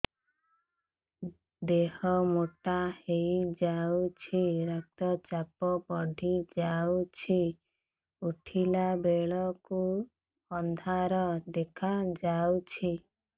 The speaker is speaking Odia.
ଦେହ ମୋଟା ହେଇଯାଉଛି ରକ୍ତ ଚାପ ବଢ଼ି ଯାଉଛି ଉଠିଲା ବେଳକୁ ଅନ୍ଧାର ଦେଖା ଯାଉଛି